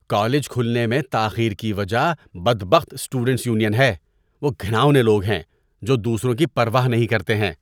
‏College کھلنے میں تاخیر کی وجہ بدبخت اسٹوڈنٹس یونین ہے، وہ گھناؤنے لوگ ہیں جو دوسروں کی پرواہ نہیں کرتے ہیں۔